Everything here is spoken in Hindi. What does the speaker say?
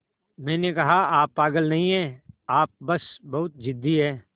मैंने कहा आप पागल नहीं हैं आप बस बहुत ज़िद्दी हैं